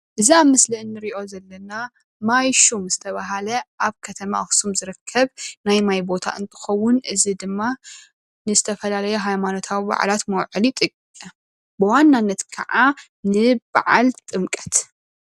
እዚ ኣብ ምስሊ ንሪኦ ዘለና ማይሹም ዝተባሃለ ኣብ ከተማ ኣክሱም ዝርከብ ናይ ማይ ቦታ እንትከዉን እዚ ድማ ንዝተፈላለዩ ሃይማኖታዊ ብዓላት መውዐሊ ይጥቀ ብዋናነት ክዓ ንብዓል ጥምቀት፡፡